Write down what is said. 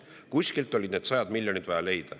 Kuskilt oli need sajad miljonid vaja leida.